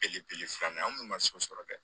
Belebele filanan an kun ma so sɔrɔ dɛ